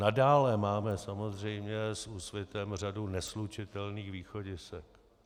Nadále máme samozřejmě s Úsvitem řadu neslučitelných východisek.